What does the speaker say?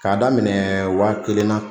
K'a daminɛ wa kelen na.